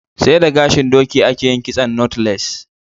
sai da gashin doki a ke yin kitson "knotless"